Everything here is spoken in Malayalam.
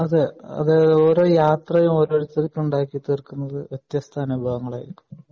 അതെ അത് ഓരോ യാത്രയും ഉണ്ടാക്കി തീർക്കുന്നത് വ്യത്യസ്ത അനുഭവങ്ങൾ ആയിരിക്കും